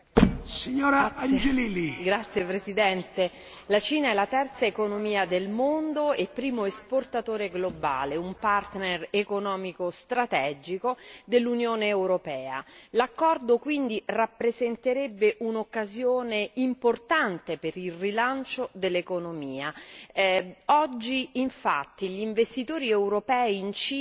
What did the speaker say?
Signor Presidente, onorevoli colleghi, la Cina è la terza economia del mondo e primo esportatore globale, un partner economico strategico dell'Unione europea, l'accordo, quindi, rappresenterebbe un'occasione importante per il rilancio dell'economia. Oggi infatti gli investitori europei in Cina